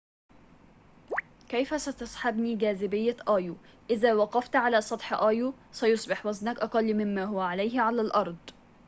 كيف ستسحبني جاذبية أيو إذا وقفت على سطح أيو سيصبح وزنك أقل مما هو عليه على الأرض